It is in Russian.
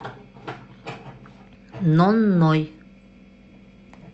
нонной